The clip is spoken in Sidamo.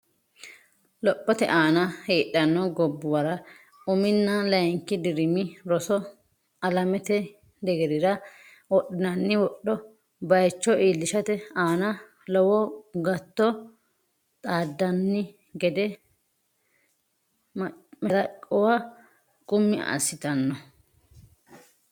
Lophote aana heedhanno gobbuwara uminna layinki dirimi roso alamete deerrinni wodhinoonni wodho baycho iillishate aana lowo gatto xaaddanni gede mashalaqquwa qummi assitanno.